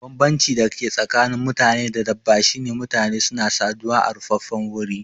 Banbancin da ke tsakanin mutane da dabba shine mutane suna saduwa a rufaffen wuri